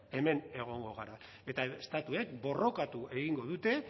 hemen egongo gara eta estatuek borrokatu egingo dute